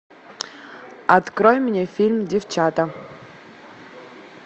открой мне фильм девчата